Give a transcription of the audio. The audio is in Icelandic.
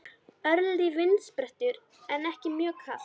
Örlítill vindsperringur en ekki mjög kalt.